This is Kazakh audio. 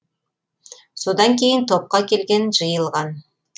содан кейін топқа келген жиылған